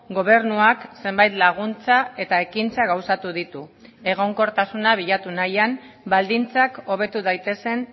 gobernuak zenbait laguntza eta ekintza gauzatu ditu egonkortasuna bilatu nahian baldintzak hobetu daitezen